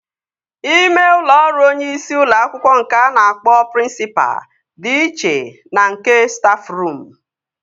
Ime ụlọ ọrụ onyeisi ụlọ akwụkwọ nke a na-akpọ prịnsịpa dị iche na nke stafruum